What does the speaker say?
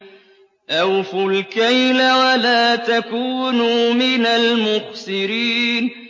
۞ أَوْفُوا الْكَيْلَ وَلَا تَكُونُوا مِنَ الْمُخْسِرِينَ